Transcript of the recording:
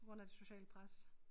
På grund af det sociale pres